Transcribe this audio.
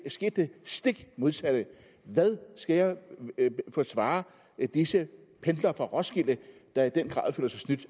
skete det stik modsatte hvad skal jeg svare disse pendlere fra roskilde der i den grad føler sig snydt